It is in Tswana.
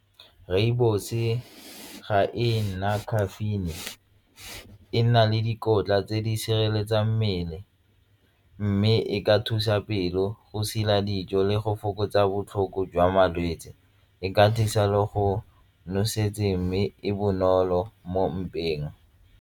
Rooibos-e ga e na caffeine, e na le dikotla tse di sireletsang mmele mme e ka thusa pelo go sila ya dijo le go fokotsa botlhoko jwa malwetse e ka thusa le go nosetsa ka mme e bonolo mo mpeng.